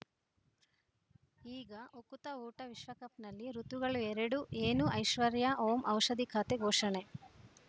ಈಗ ಉಕುತ ಊಟ ವಿಶ್ವಕಪ್‌ನಲ್ಲಿ ಋತುಗಳು ಎರಡು ಏನು ಐಶ್ವರ್ಯಾ ಓಂ ಔಷಧಿ ಖಾತೆ ಘೋಷಣೆ